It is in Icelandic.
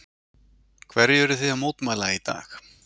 Hverju eruð þið að mótmæla í dag?